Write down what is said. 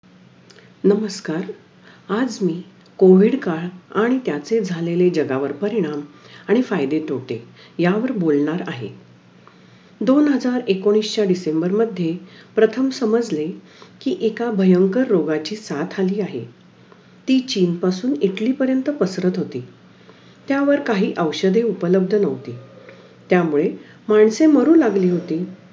आणि नंतर आठवी मध्ये पण अं सातवी आठवी अश्या ह्या वर्गामध्ये पण आम्हाला sholarship चे पेपर असायचे , तर मी आठवी मध्ये sholarship चे पेपर पास झाले ते. त्याच्यानंर मी नवी पासून होऊन